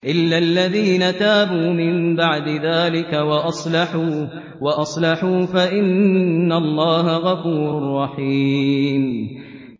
إِلَّا الَّذِينَ تَابُوا مِن بَعْدِ ذَٰلِكَ وَأَصْلَحُوا فَإِنَّ اللَّهَ غَفُورٌ رَّحِيمٌ